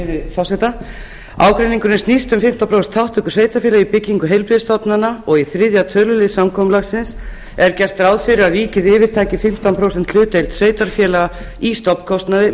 sveitarfélaga ágreiningurinn snýst um fimmtán prósent þátttöku sveitarfélaga í byggingu heilbrigðisstofnana í þriðja tölulið samkomulagsins er gert ráð fyrir að ríkið yfirtaki fimmtán prósenta hlutdeild sveitarfélaga í stofnkostnaði